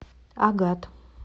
агат